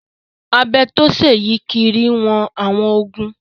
Abẹ tó ṣe é yí kiri ń wọn àwọn igun